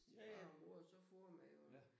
Ja ja. Ja